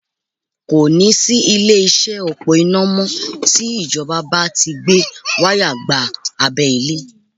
Kò ní sí ilé-iṣẹ́ òpó iná mọ́ tí Ìjọba bá ti Ń gbé wáyà gba abẹ́ ilẹ̀